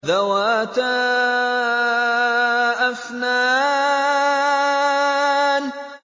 ذَوَاتَا أَفْنَانٍ